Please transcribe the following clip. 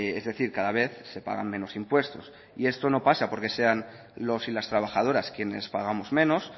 es decir cada vez se pagan menos impuestos y esto no pasa porque sean los y las trabajadoras quienes pagamos menos